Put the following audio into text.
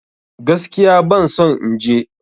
Gaskiya ban son in je